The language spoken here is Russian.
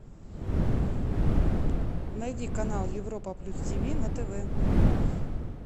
найди канал европа плюс тв на тв